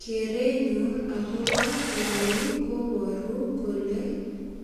Keremyun agopo koroi kobaru kole